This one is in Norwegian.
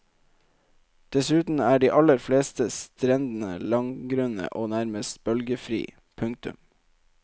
Dessuten er de aller fleste strendene langgrunne og nærmest bølgefri. punktum